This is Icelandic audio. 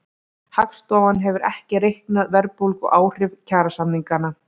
Hagstofan hefur ekki reiknað verðbólguáhrif kjarasamninganna